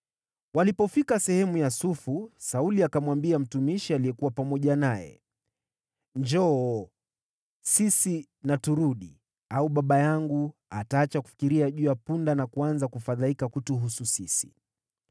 Walipofika sehemu ya Sufu, Sauli akamwambia mtumishi aliyekuwa pamoja naye, “Njoo, sisi na turudi, au baba yangu ataacha kufikiria juu ya punda na kuanza kufadhaika kutuhusu sisi.”